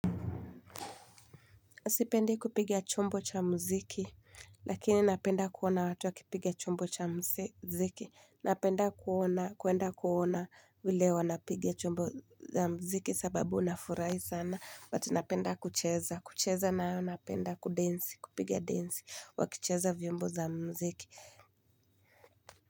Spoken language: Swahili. Sipendi kupiga chombo cha mziki, lakini napenda kuona watu wakipiga chombo cha mziki. Napenda kuona, kuenda kuona vile wanapiga chombo za mziki sababu nafurahi sana, but napenda kucheza, kucheza nayo napenda kudensi, kupigia densi, wakicheza vyombo za mziki.